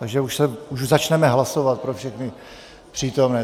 Takže už začneme hlasovat, pro všechny přítomné.